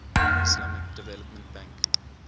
islamic development bank